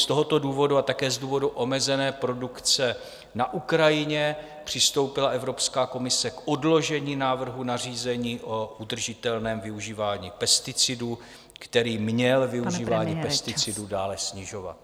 Z tohoto důvodu a také z důvodu omezené produkce na Ukrajině přistoupila Evropská komise k odložení návrhu na řízení o udržitelném využívání pesticidů, který měl využívání pesticidů dále snižovat.